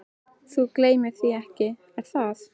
Þú gleymir því ekki, er það?